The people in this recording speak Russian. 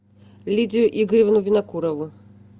лидию игоревну винокурову